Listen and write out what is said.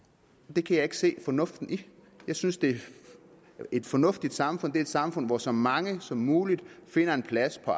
det kan jeg ikke se fornuften i jeg synes at et fornuftigt samfund er et samfund hvor så mange som muligt finder en plads på